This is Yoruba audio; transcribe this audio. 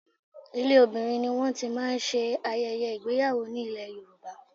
Ilé obìnrin ni wọ́n ti máa ń ṣe ayẹyẹ ìgbéyàwó ní ilè Yorùbá.